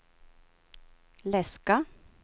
läska